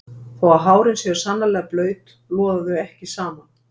Þó að hárin séu sannarlega blaut loða þau ekki saman.